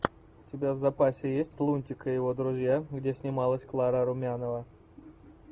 у тебя в запасе есть лунтик и его друзья где снималась клара румянова